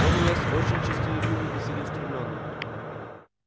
он у нас очень честолюбивый и целеустремлённый